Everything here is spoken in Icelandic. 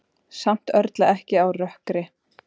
Samt örlar ekki á rökkri.